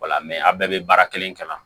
Wala aw bɛɛ bɛ baara kelen kama